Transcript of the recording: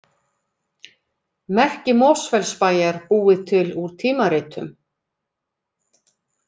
Merki Mosfellsbæjar búið til úr tímaritum